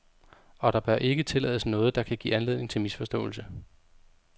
Og der bør ikke tillades noget, der kan give anledning til misforståelse.